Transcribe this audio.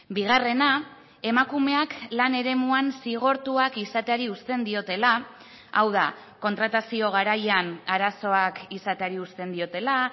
bigarrena emakumeak lan eremuan zigortuak izateari uzten diotela hau da kontratazio garaian arazoak izateari uzten diotela